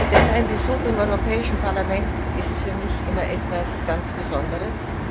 Denn ein Besuch im Europäischen Parlament ist für mich immer etwas ganz Besonderes.